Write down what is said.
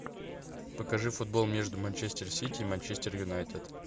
покажи футбол между манчестер сити и манчестер юнайтед